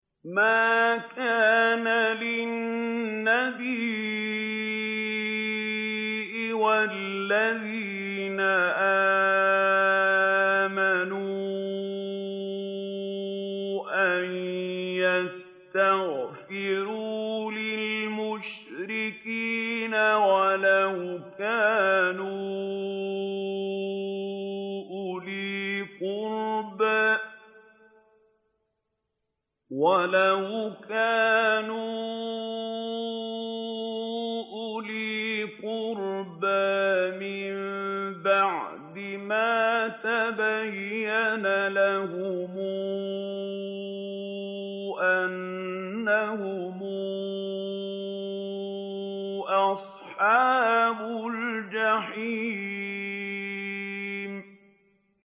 مَا كَانَ لِلنَّبِيِّ وَالَّذِينَ آمَنُوا أَن يَسْتَغْفِرُوا لِلْمُشْرِكِينَ وَلَوْ كَانُوا أُولِي قُرْبَىٰ مِن بَعْدِ مَا تَبَيَّنَ لَهُمْ أَنَّهُمْ أَصْحَابُ الْجَحِيمِ